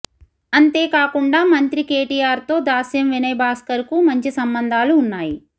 అంతే కాకుండా మంత్రి కేటీ ఆర్తో దాస్యం వినయ్భాస్కర్కు మంచి సంబందాలు ఉన్నాయి